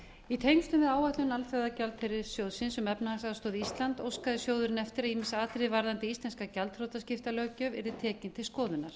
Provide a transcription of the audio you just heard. í tengslum við áætlun alþjóðagjaldeyrissjóðsins um efnahagsaðstoð til íslands óskaði sjóðurinn eftir að ýmis atriði varðandi íslenska gjaldþrotaskiptalöggjöf yrði tekin til skoðunar